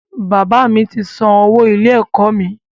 Bàbá mi ti san owó ilé-ẹ̀kọ́ mi.